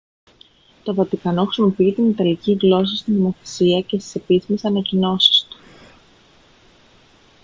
το βατικανό χρησιμοποιεί την ιταλική γλώσσα στη νομοθεσία και στις επίσημες ανακοινώσεις του